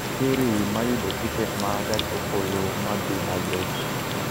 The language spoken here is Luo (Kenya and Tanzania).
siri ma yudo tiket ma gach okoloma dhi nairobi